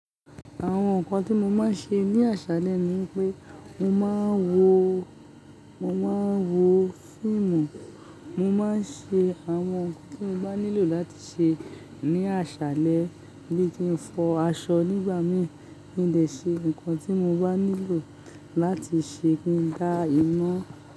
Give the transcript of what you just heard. Àwọn nǹkan tí mo máa ń ṣe ní àṣálẹ ni pé mo máa ń wo, mo máa ń wo fíìmù, mo máa ń ṣe àwọn ohun tí mo bá nílò láti ṣe ní àṣálẹ, bí ki ń fọ aṣọ nígbà mìíràn, mo le ṣe nǹkan tí mo bá nílò láti ṣe, ki n dá iná.